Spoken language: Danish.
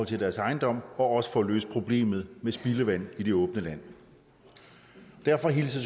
til deres ejendom og også får løst problemet med spildevand i det åbne land derfor hilser